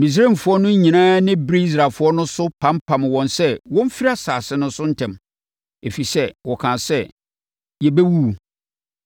Misraimfoɔ no nyinaa ani beree Israelfoɔ no so pampam wɔn sɛ wɔmfiri asase no so ntɛm, ɛfiri sɛ, wɔkaa sɛ, “Yɛbɛwuwu.”